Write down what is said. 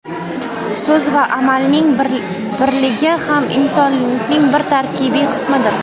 So‘z va amalning birligi ham insonlikning bir tarkibiy qismidir.